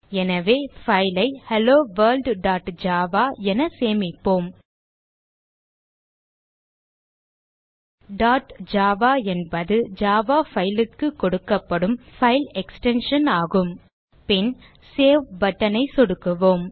எனவே file ஐ hello world dot Java என சேமிப்போம் டாட் ஜாவா என்பது ஜாவா file க்கு கொடுக்கப்படும் பைல் எக்ஸ்டென்ஷன் ஆகும் பின் சேவ் button ஐ சொடுக்குவோம்